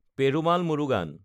Perumal Murugan